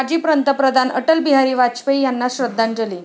माजी पंतप्रधान अटल बिहारी वाजपेयी यांना श्रद्धांजली